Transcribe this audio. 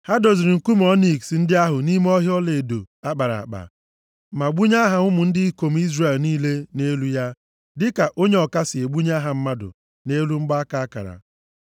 Ha doziri nkume ọniks ndị ahụ nʼime ihe ọlaedo a kpara akpa; ma gbunye aha ụmụ ndị ikom Izrel niile nʼelu ya dịka onye ọka si egbunye aha mmadụ nʼelu mgbaaka akara.